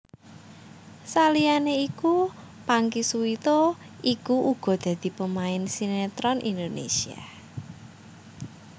Saliyané iku Pangky Suwito iku uga dadi pemain sinetron Indonésia